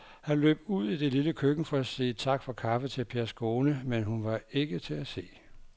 Han løb ud i det lille køkken for at sige tak for kaffe til Pers kone, men hun var ikke til at se.